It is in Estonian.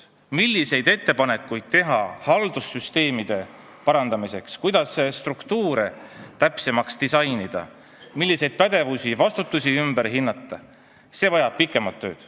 See, milliseid ettepanekuid tuleks teha haldussüsteemide parandamiseks, kuidas struktuure täpsemaks disainida ning kus on vaja pädevust ja vastutust ümber hinnata, vajab pikemat tööd.